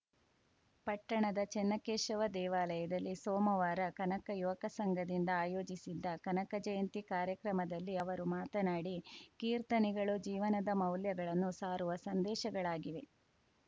ಪಟ್ಟಣದ ಚನ್ನಕೇಶವ ದೇವಾಲಯದಲ್ಲಿ ಸೋಮವಾರ ಕನಕ ಯುವಕ ಸಂಘದಿಂದ ಆಯೋಜಿಸಿದ್ದ ಕನಕ ಜಯಂತಿ ಕಾರ್ಯಕ್ರಮದಲ್ಲಿ ಅವರು ಮಾತನಾಡಿ ಕೀರ್ತನೆಗಳು ಜೀವನದ ಮೌಲ್ಯಗಳನ್ನು ಸಾರುವ ಸಂದೇಶಗಳಾಗಿವೆ